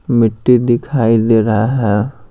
मिट्टी दिखाई दे रहा है।